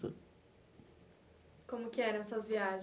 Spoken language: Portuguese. Como que eram essas viagens?